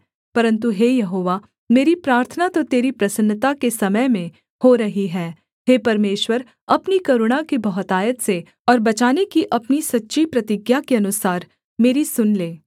परन्तु हे यहोवा मेरी प्रार्थना तो तेरी प्रसन्नता के समय में हो रही है हे परमेश्वर अपनी करुणा की बहुतायात से और बचाने की अपनी सच्ची प्रतिज्ञा के अनुसार मेरी सुन ले